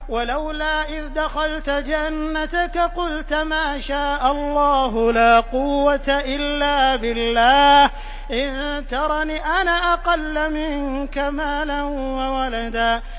وَلَوْلَا إِذْ دَخَلْتَ جَنَّتَكَ قُلْتَ مَا شَاءَ اللَّهُ لَا قُوَّةَ إِلَّا بِاللَّهِ ۚ إِن تَرَنِ أَنَا أَقَلَّ مِنكَ مَالًا وَوَلَدًا